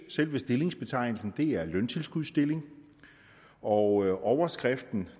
selve stillingsbetegnelsen det er en løntilskudsstilling og overskriften